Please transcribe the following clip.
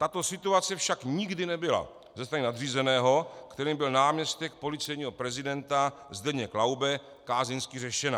Tato situace však nikdy nebyla ze strany nadřízeného, kterým byl náměstek policejního prezidenta Zdeněk Laube, kázeňsky řešena.